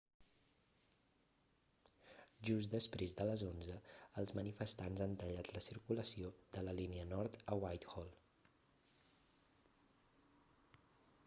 just després de les 11:00 els manifestants han tallat la circulació de la línia nord a whitehall